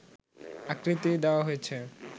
আকৃতির দেওয়া হয়েছে